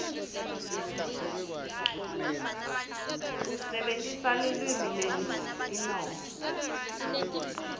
usebentisa lulwimi lwetinongo